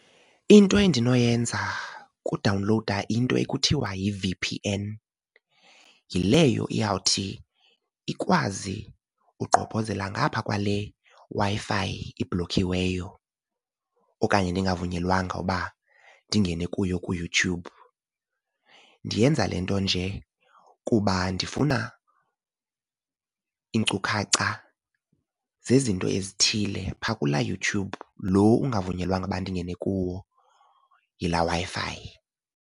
Into endinoyenza kudawunlowuda into ekuthiwa yi-V_P_N. Yileyo iyawuthi ikwazi ugqobhozela ngapha kwale Wi-Fi ibhlokhiweyo okanye ndingavunyelwanga uba ndingene kuyo kuYouTube. Ndiyenza le nto nje kuba ndifuna iinkcukacha zezinto ezithile phaa kulaa YouTube lo ungavunyelwanga uba ndingene kuwo yilaa Wi-Fi.